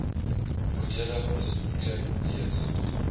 volledig bespreek lees